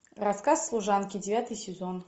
рассказ служанки девятый сезон